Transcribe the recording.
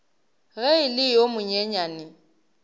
ge e le yo monyenyane